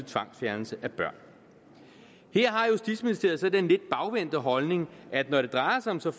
tvangsfjernelse af børn her har justitsministeriet så den lidt bagvendte holdning at når det drejer sig om så